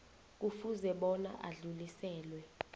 kufuze bona adluliselwe